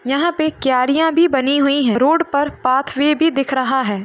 यहाँ पे क्यारियां भी बनी हुई हैं रोड पर पाथवे भी दिख रहा है |